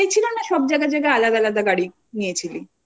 একটাই ছিল নাকি সব জায়গায় জায়গায় আলাদা আলাদা গাড়ি নিয়েছিলি?